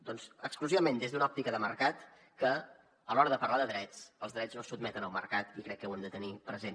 doncs exclusivament des d’una òptica de mercat que a l’hora de parlar de drets els drets no se sotmeten al mercat i crec que ho hem de tenir present